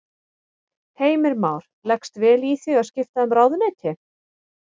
Heimir Már: Leggst vel í þig að vera skipta um ráðuneyti?